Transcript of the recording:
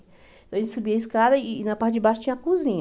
A gente subia a escada e na parte de baixo tinha a cozinha.